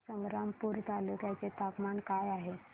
आज संग्रामपूर तालुक्या चे तापमान काय आहे